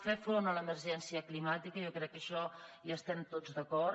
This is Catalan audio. fer front a l’emergència climàtica jo crec que en això hi estem tots d’acord